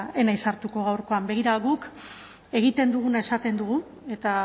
ez naiz sartuko gaurkoan begira guk egiten duguna esaten dugu eta